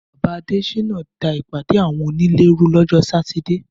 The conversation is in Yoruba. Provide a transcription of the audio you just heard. Bàbá Adéṣínà da ìpàdé àwọn onílé rú lọ́jọ́ Sátidé.